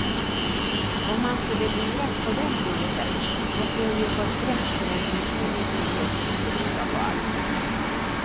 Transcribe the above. Om man skulle luras på den punkten måste hon ju få skräck för ens opålitlighet till råga på allt.